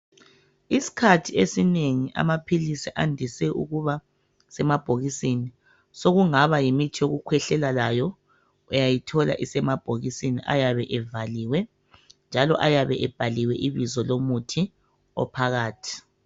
Isikhathi esinengi amaphilisi andise ukuba semabhokisini. Sokungaba yimuthi yokukhwehlela layo uyayithola isemabhokisini ayabe evaliwe njalo ayabe ebhaliwe ibizo lomuthi ophakathi.